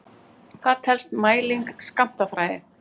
Hvað telst mæling í skammtafræði?